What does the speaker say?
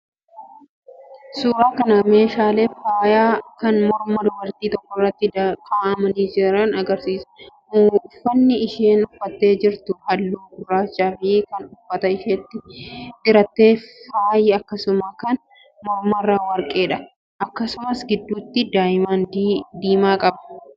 Suuraan kun meeshaalee faayaa kan morma dubartii tokkoorratti kaa'amanii jiran agarsiisa. Uffanni isheen uffattee jirtu halluu gurraachaa fi kan uffata isheetti diratte faayi akkasuma kan mormarraa warqeedha. Akkasumas gidduutti diyaamandii diimaa qaba.